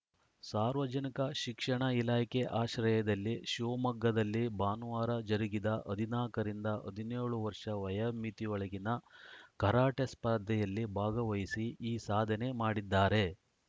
ಸಾರ್ವಜನಿಕ ಶಿಕ್ಷಣ ಇಲಾಖೆ ಆಶ್ರಯದಲ್ಲಿ ಶಿವಮೊಗ್ಗದಲ್ಲಿ ಭಾನುವಾರ ಜರುಗಿದ ಹದಿನಾಲ್ಕ ರಿಂದ ಹದಿನೇಳು ವರ್ಷ ವಯೋಮಿತಿಯೊಳಗಿನ ಕರಾಟೆ ಸ್ಪರ್ಧೆಯಲ್ಲಿ ಭಾಗವಹಿಸಿ ಈ ಸಾಧನೆ ಮಾಡಿದ್ದಾರೆ